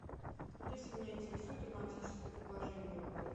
алиса меня интересует романтическое предложение в отеле